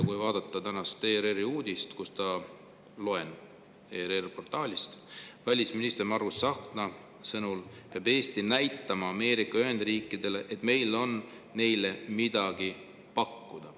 ERR‑i portaalis on täna uudis, kust loen: "Välisminister Margus Tsahkna sõnul peab Eesti näitama Ameerika Ühendriikidele, et meil on neile midagi pakkuda.